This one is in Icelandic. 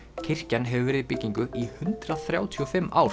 kirkjan hefur verið í byggingu í hundrað þrjátíu og fimm ár